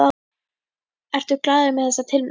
Ertu glaður með þessa tilnefningu?